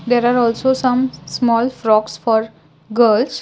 there are also some small frocks for girls.